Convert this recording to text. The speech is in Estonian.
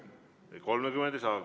Palun, kolm minutit!